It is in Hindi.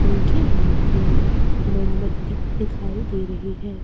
उनके हाथ में मोमबत्ती दिखाई दे रही है।